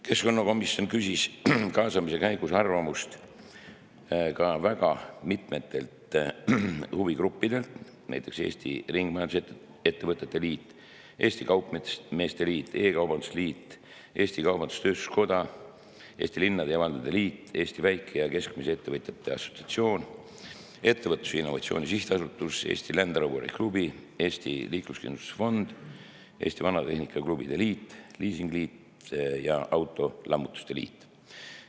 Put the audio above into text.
Keskkonnakomisjon küsis kaasamise käigus arvamust ka väga mitmetelt huvigruppidelt: Eesti Ringmajandusettevõtete Liit, Eesti Kaupmeeste Liit, Eesti E-kaubanduse Liit, Eesti Kaubandus-Tööstuskoda, Eesti Linnade ja Valdade Liit, Eesti Väike- ja Keskmiste Ettevõtjate Assotsiatsioon, Ettevõtluse ja Innovatsiooni Sihtasutus, Eesti Land Roveri Klubi, Eesti Liikluskindlustuse Fond, Eesti Vanatehnika Klubide Liit, Liisingliit ja Autolammutuste Liit.